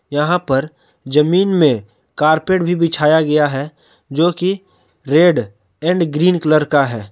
यहां पर जमीन में कार्पेट भी बिछाया गया है जो कि रेड एंड ग्रीन कलर का है।